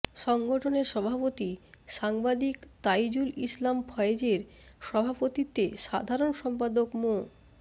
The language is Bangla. সংগঠনের সভাপতি সাংবাদিক তাইজুল ইসলাম ফয়েজের সভাপতিত্বে সাধারণ সম্পাদক মো